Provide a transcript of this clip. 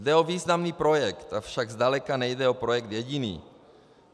Jde o významný projekt, avšak zdaleka nejde o projekt jediný.